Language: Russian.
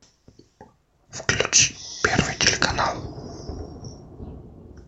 включи первый телеканал